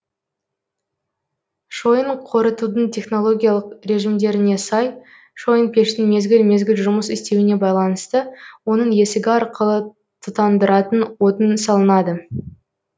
шойын қорытудың технологиялық режімдеріне сай шойынпештің мезгіл мезгіл жұмыс істеуіне байланысты оның есігі арқылы тұтандыратын отын салынады